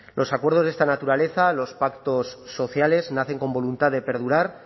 los acuerdos de esta naturaleza los pactos sociales nacen con voluntad de perdurar